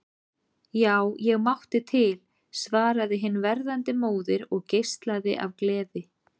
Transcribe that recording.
Já, ég mátti til, svaraði hin verðandi móðir og geislaði af gleði.